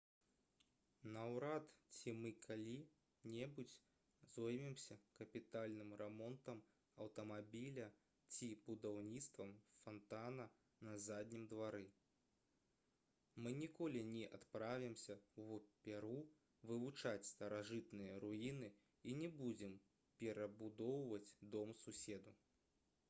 наўрад ці мы калі-небудзь зоймемся капітальным рамонтам аўтамабіля ці будаўніцтвам фантана на заднім двары мы ніколі не адправімся ў перу вывучаць старажытныя руіны і не будзем перабудоўваць дом суседу